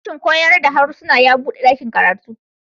Sashin koyar da harsuna ya buɗe ɗakin karatu.